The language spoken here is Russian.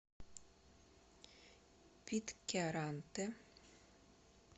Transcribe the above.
питкяранте